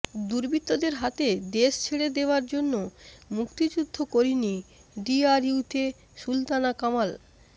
দুর্বৃত্তদের হাতে দেশ ছেড়ে দেয়ার জন্য মুক্তিযুদ্ধ করিনি ডিআরইউতে সুলতানা কামাল